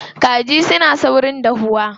Kaji suna saurin dahuwa.